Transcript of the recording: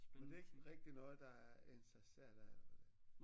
Men det er ikke rigtig noget der interesserer dig eller hvordan